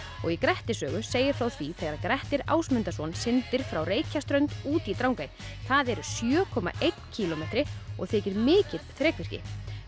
og í Grettissögu segir frá því þegar Grettir Ásmundarson syndir frá út í Drangey það eru sjö komma einn kílómetri og þykir mikið þrekvirki